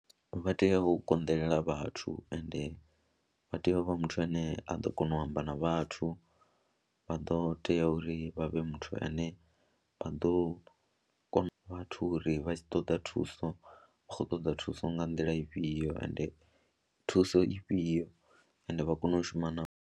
Vha tea u konḓelela vhathu ende vha tea u vha muthu ane a ḓo kona u amba na vhathu, vha ḓo tea uri vha vhe muthu ane vha ḓo kona vhathu uri vha tshi ṱoḓa thuso vha khou ṱoḓa thuso nga nḓila ifhio ende thuso ifhio ende vha kone u shuma navho.